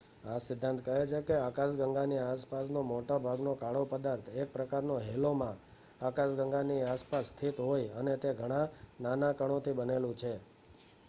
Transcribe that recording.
આ સિદ્ધાંત કહે છે કે આકાશગંગાની આસપાસનો મોટા ભાગનો કાળો પદાર્થ એક પ્રકારના હેલોમાં આકાશગંગાની આસપાસ સ્થિત હોય.અને તે ઘણા નાના કણોથી બનેલું છે